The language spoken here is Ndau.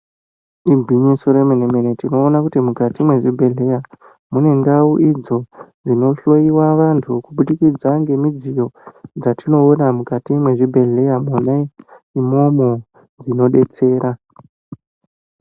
Igwinyiso remene-mene, tinoona kuti mukati mwezvibhedhleya mune ndau idzo ,dzinohloiwa vantu kubudikidza ngemidziyo, dzatinoona mukati mwezvibhedhleya, mwona imwomwo inodetsera.